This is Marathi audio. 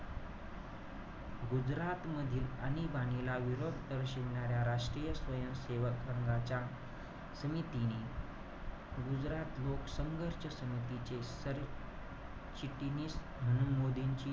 गुजरातमधील आणीबाणीला विरोध दर्शवणाऱ्या राष्ट्रीय स्वयं सेवक संघाच्या समितीने, गुजरात लोकसंघच्या समितीचे सरचिटिनीस म्हणून मोदींचे,